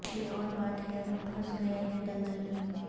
یہ اور بات ہے ہم پھنس گئے ہیں دلدل میں